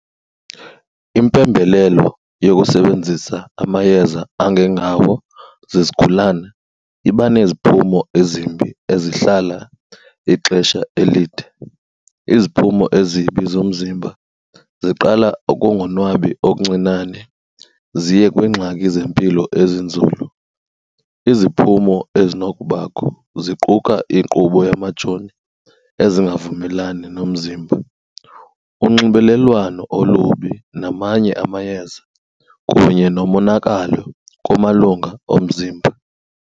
Impembelelo yokusebenzisa amayeza angengawo zizigulana iba neziphumo ezimbi ezihlala ixesha elide. Iziphumo ezibi zomzimba ziqala ukungonwabi okuncinane ziye kwiingxaki zempilo ezinzulu. Iziphumo ezinokubakho ziquka inkqubo yamajoni ezingavumelani nomzimba, unxibelelwano olubi namanye amayeza kunye nomonakalo kumalunga omzimba.